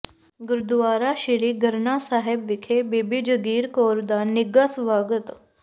ਗੁਰਦੁਆਰਾ ਸ੍ਰੀ ਗਰਨਾ ਸਾਹਿਬ ਵਿਖੇ ਬੀਬੀ ਜਗੀਰ ਕੌਰ ਦਾ ਨਿੱਘਾ ਸਵਾਗਤ